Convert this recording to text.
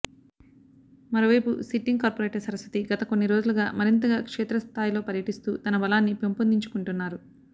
మరోవైపు sitting corporator Saraswati గత కొన్ని రోజులుగా మరింతగా క్షేత్రస్థాయిలో పర్యటిస్తూ తన బలాన్ని పెంపొందిం చుకుంటున్నారు